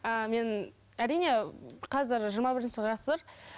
ыыы мен әрине қазір жиырма бірінші ғасыр